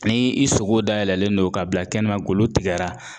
Ni i sogo dayɛlɛlen don ka bila kɛnɛma golo tigɛra